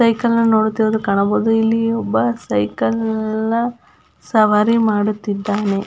Cycle ನ ನೋಡುತ್ತಿರುವುದು ಕಾಣಬಹುದು ಇಲ್ಲಿ ಒಬ್ಬ ಸೈಕಲ್ ನ ಸವಾರಿ ಮಾಡುತ್ತಿದ್ದಾನೆ.